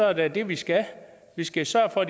er da det vi skal vi skal sørge for